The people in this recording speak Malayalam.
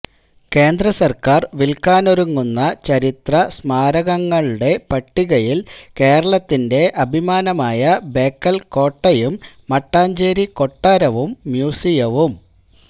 കേന്ദ്രസർക്കാർ വിൽക്കാനൊരുങ്ങുന്ന ചരിത്ര സമാരകങ്ങളുടെ പട്ടികയിൽ കേരളത്തിന്റെ അഭിമാനമായ ബേക്കൽ കോട്ടയും മട്ടാഞ്ചേരി കൊട്ടാരവും മ്യൂസിയവും